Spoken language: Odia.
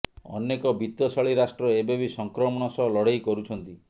ଅନେକ ବିତ୍ତଶାଳୀ ରାଷ୍ଟ୍ର ଏବେ ବି ସଂକ୍ରମଣ ସହ ଲଢ଼େଇ କରୁଛନ୍ତି